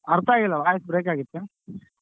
ಅರ್ಥ ಆಗಿಲ್ಲಣ್ಣ voice brake ಆಗ್ತಯ್ತೆ.